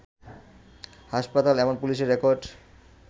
হাসপাতাল, এবং পুলিশের রেকর্ড